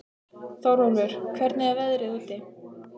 Þórólfur, hvernig er veðrið úti?